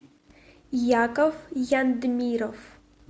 яков яндмиров